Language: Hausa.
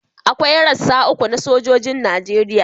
Akwai rassa uku na sojojin Najeriya